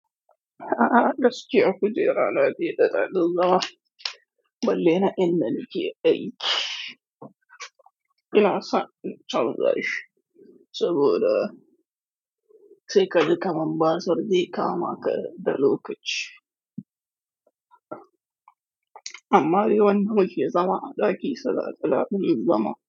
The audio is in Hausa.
A'a gaskiya ku je rana da dare na lura balle na inna nake aiki. Ina son cin tsamra shi saboda sai ka ji kamar ba sardi ka ma ka da lokaci. Amma dai wannan muke zama da ƙi sana'a kuma mun zama.